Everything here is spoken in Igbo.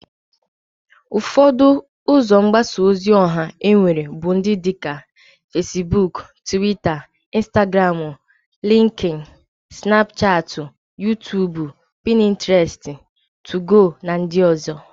Ufodo uzo mgbasa ozi oha enwere bu ndi dika Fesbuk, Twita, Instagramu, Linkin, snapuchati, Yutubu, Pinteresti, Tugo, na ndi ozo.